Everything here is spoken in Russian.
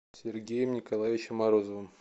сергеем николаевичем морозовым